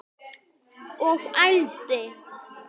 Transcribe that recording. Og ældi.